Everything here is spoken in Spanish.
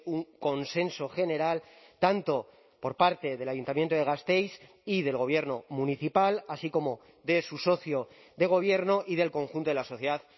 un consenso general tanto por parte del ayuntamiento de gasteiz y del gobierno municipal así como de su socio de gobierno y del conjunto de la sociedad